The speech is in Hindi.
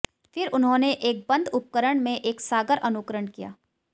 फिर उन्होंने एक बंद उपकरण में एक सागर अनुकरण किया